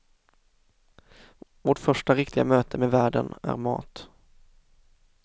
Vårt första riktiga möte med världen är mat.